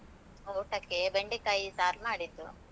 ಊಟಕ್ಕೆ ಬೆಂಡೆಕಾಯಿ ಸಾರ್ ಮಾಡಿದ್ದು.